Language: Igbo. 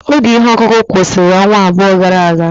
Oge ihe ọkụkụ kwụsịrị ọnwa abụọ gara aga.